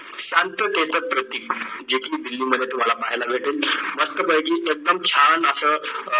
शांततेचं प्रतीक जे तुम्ही दिल्ली मध्ये तुम्हाला पाहायला भेटेल मस्तपैकी एकदम छान असं